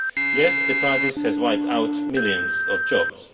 Yes, the crisis has wiped out millions of jobs.